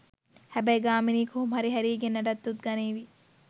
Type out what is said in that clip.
හැබැයි ගාමිණී කොහොම හරි හැරීගෙන් නඩත්තුත් ගනීවි